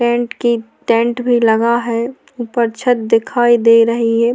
Tent की tent भी लगा है उपर छत भी दिखाई दे रही है।